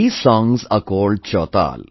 These songs are called Chautal